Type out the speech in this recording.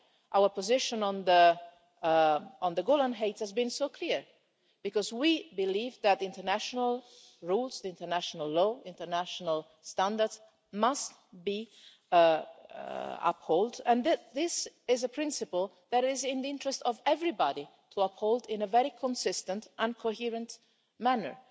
our position on the Golan Heights has been so clear, because we believe that international rules, international law and international standards must be upheld, and that this is a principle that it is in the interest of everybody to uphold in a very consistent and coherent manner.